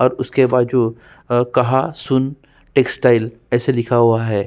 और उसके बाजू अ कहा सुन टेक्सटाइल ऐसे लिखा हुआ है।